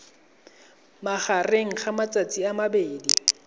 magareng ga matsatsi a mabedi